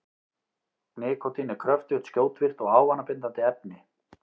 Nikótín er kröftugt, skjótvirkt og ávanabindandi efni.